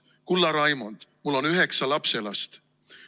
Kulla Raimond, mul on üheksa lapselast.